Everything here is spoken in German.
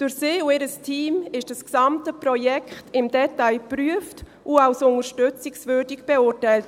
Durch sie und ihr Team wurde das gesamte Projekt im Detail geprüft und als unterstützungswürdig beurteilt.